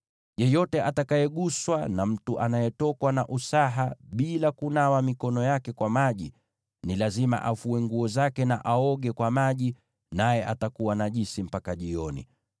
“ ‘Yeyote atakayeguswa na mtu anayetokwa na usaha bila kunawa mikono yake kwa maji, ni lazima afue nguo zake na aoge kwa maji, naye atakuwa najisi mpaka jioni.